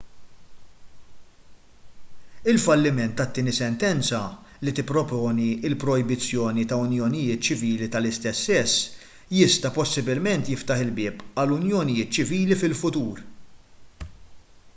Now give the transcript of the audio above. il-falliment tat-tieni sentenza li tipproponi l-projbizzjoni ta' unjonijiet ċivili tal-istess sess jista' possibilment jiftaħ il-bieb għal unjonijiet ċivili fil-futur